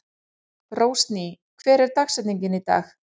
Rósný, hver er dagsetningin í dag?